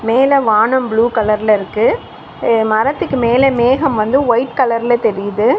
மேல வானம் ப்ளூ கலர்ல இருக்கு எ மரத்துக்கு மேல மேகம் வந்து ஒயிட் கலர்ல தெரியிது.